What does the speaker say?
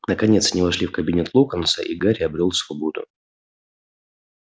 наконец они вошли в кабинет локонса и гарри обрёл свободу